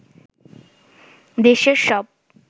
দেশের সব